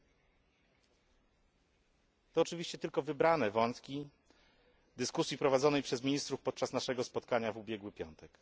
Są to oczywiście tylko wybrane wątki dyskusji prowadzonej przez ministrów podczas naszego spotkania w ubiegły piątek.